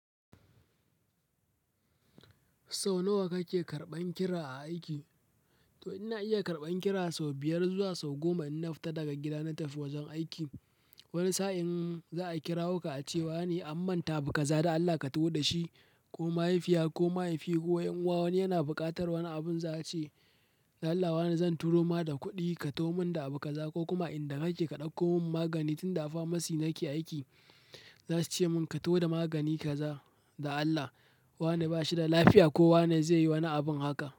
Sau nawa kake karɓan kira a aiki? To ina iya karɓan kira sau biyar zuwa sau goma in na fita daga gida na tafi wajen aiki. Wani sa'in za a kirawoka a ce wa ne an manta abu kaza da Allah ka taho da shi ko mahaifiya ko mahaifi ko 'yan'uwa wani yana buƙatar wani abun za a ce. Dan Allah wa ne zan turo ma da kuɗi ka taho mun da abu kaza ko kuma a in da kake ka ɗauko mun magani tun da a pharmacy nake aiki. Za su ce mun ka zo da magani kaza. Dan Allah wa ne ba shi da lafiya ko wa ne zai yi wani abin haka.